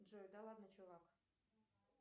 джой да ладно чувак